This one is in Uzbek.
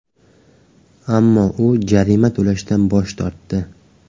Ammo u jarima to‘lashdan bosh tortdi.